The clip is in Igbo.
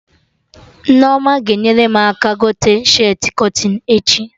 Nneoma ga-enyere m aka gote shirtị kọtịn echi